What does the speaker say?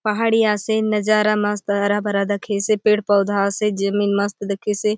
पहाड़ी आसे नजारा मस्त हरा-भरा दखेसे पेड़ पौधा आसे जमीन मस्त दखेसे।